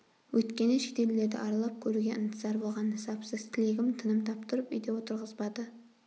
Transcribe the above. өйткені шетелдерді аралап көруге ынтызар болған нысапсыз тілегім тыным таптырып үйде отырғызбады